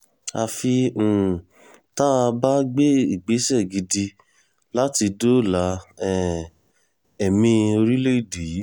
àfi um tá a bá gbé ìgbésẹ̀ gidi láti dóòlà um ẹ̀mí orílẹ̀‐èdè yìí